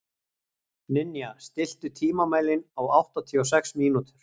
Ninja, stilltu tímamælinn á áttatíu og sex mínútur.